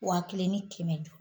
Wa kelen ni kɛmɛ duuru